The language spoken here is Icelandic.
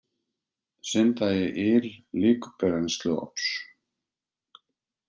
Synda í yl líkbrennsluofns